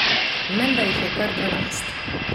Menda jih je kar dvanajst.